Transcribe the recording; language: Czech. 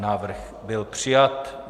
Návrh byl přijat.